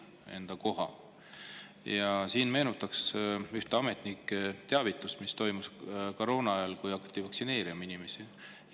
Tuletaksin meelde ühte ametnike teavitust, mis toimus koroona ajal, kui hakati inimesi vaktsineerima.